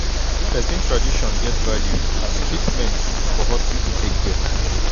person tradition get value as treatment for hospital take get